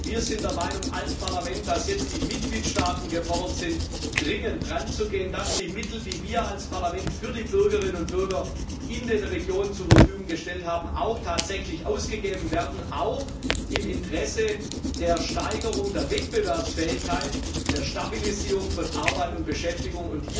Wir sind der Meinung als Parlament, dass jetzt die Mitgliedstaaten gefordert sind, dringend daranzugehen, dass die Mittel, die wir als Parlament für die Bürgerinnen und Bürger in den Regionen zur Verfügung gestellt haben, auch tatsächlich ausgegeben werden, auch im Interesse der Steigerung der Wettbewerbsfähigkeit, der Stabilisierung von Arbeit und Beschäftigung.